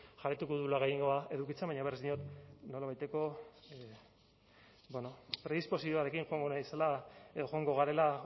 jarraituko dugula gehiengoa edukitzen baina berriz diot nolabaiteko predisposizioarekin joango garela